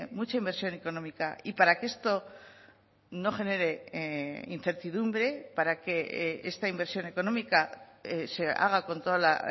mucha inversión económica y para que esto no genere incertidumbre para que esta inversión económica se haga con toda la